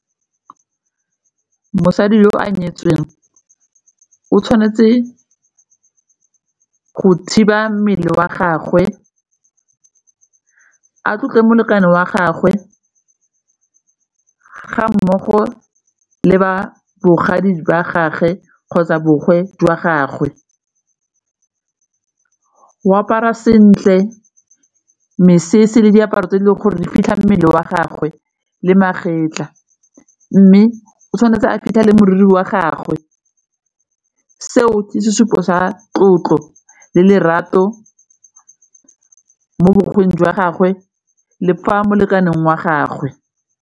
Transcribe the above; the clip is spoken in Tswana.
Mosadi yo o nyetsweng o tshwanetse go thiba mmele wa gagwe, a tlotle molekane wa gagwe ga mmogo le ba bogadi jwa gage kgotsa jwa gagwe, o apara sentle mesese le diaparo tse e leng gore re fitlha mmele wa gagwe le magetla mme o tshwanetse a fitlhele moriri wa gagwe. Seo ke sesupo sa tlotlo le lerato mo jwa gagwe le fa molekane wa gagwe.